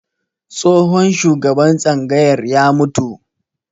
Tsohon shugaban tsangayar ya mutu